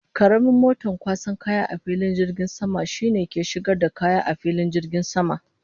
Karamin moton kwasan kaya a filin jirgin sama shine ke shigar da kaya a filin jirgin sama.